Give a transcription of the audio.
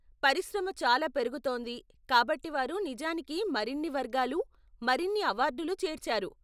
పరిశ్రమ చాలా పెరుగుతోంది కాబట్టి వారు నిజానికి మరిన్ని వర్గాలు, మరిన్ని అవార్డులు చేర్చారు.